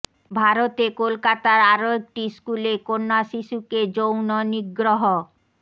ভারতে কলকাতার আরো একটি স্কুলে কন্যা শিশুকে যৌন নিগ্রহ